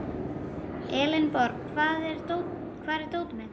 Elenborg, hvar er dótið mitt?